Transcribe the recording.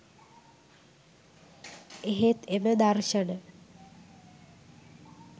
එහෙත් එම දර්ශන